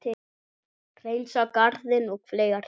Hreinsa garðinn og fleira.